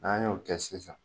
N'an y'o kɛ sisan